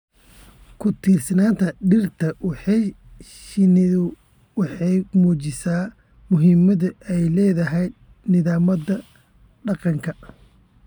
Ku-tiirsanaanta dhirta ee shinnidu waxay muujinaysaa muhiimadda ay u leedahay nidaamka deegaanka.